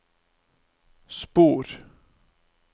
spor